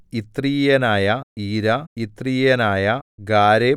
യിത്രീയനായ Ira യിത്രീയനായ Gareb